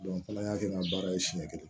kalaya kɛ n ka baara ye siɲɛ kelen